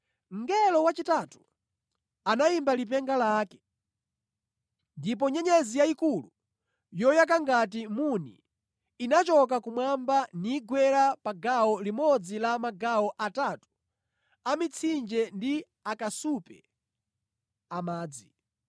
Mngelo wachitatu anayimba lipenga lake, ndipo nyenyezi yayikulu, yoyaka ngati muni inachoka kumwamba nigwera pa gawo limodzi la magawo atatu a mitsinje ndi pa akasupe amadzi.